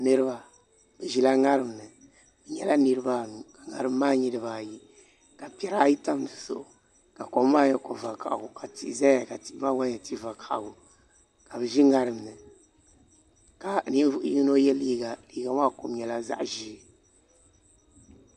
Niraba bi ʒila ŋarim ni bi nyɛla niraba anu ka ŋarim maa nyɛ dibayi ka piɛri ayi tam dizuɣu ka kom maa nyɛ ko vakaɣali ka tihi ʒɛya ka tihi maa gba nyɛ tia vakaɣali ka bi ʒi ŋarim ni ka ninvuɣu yino yɛ liiga liiga maa kom nyɛla zaɣ ʒiɛ